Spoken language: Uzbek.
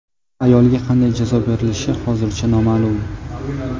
Ayolga qanday jazo berilishi hozircha noma’lum.